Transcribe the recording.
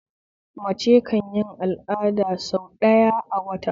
Mace kanyi al'ada sau ɗaya ne a wata